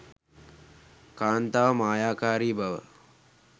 කාන්තාව මායාකාරී බව